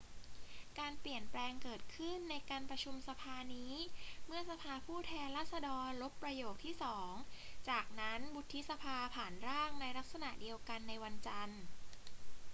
การเปลี่ยนแปลงเกิดขึ้นในการประชุมสภานี้เมื่อสภาผู้แทนราษฎรลบประโยคที่สอง จากนั้นวุฒิสภาผ่านร่างในลักษณะเดียวกันในวันจันทร์